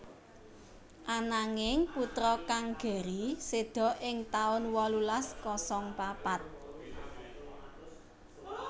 Ananging putra kang Gerry séda ing taun wolulas kosong papat